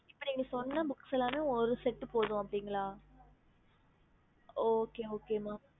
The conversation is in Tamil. ஹம்